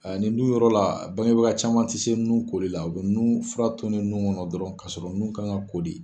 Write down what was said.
Nin du yɔrɔ la bangebaga caman tɛ se nun koli la, u bɛ nun fura tonni nun kɔnɔ dɔrɔn ka sɔrɔ nun kan ka ko de.